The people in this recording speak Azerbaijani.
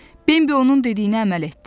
Bembi onun dediyinə əməl etdi.